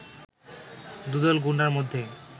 দুদল গুন্ডার মধ্যে